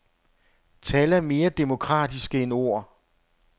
Tal er mere demokratiske end ord.